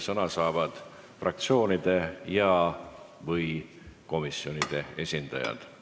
Sõna saavad fraktsioonide ja/või komisjonide esindajad.